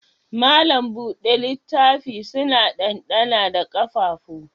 Malam buɗe littaf suna dandana da ƙafafu